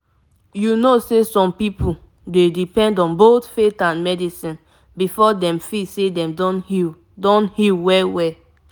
you know say some pipo dey depend on both faith and medicine before dem feel say dem don heal don heal well-well